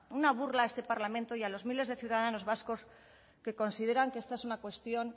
una burla a este parlamento y a los miles de ciudadanos vascos que consideran que esta es una cuestión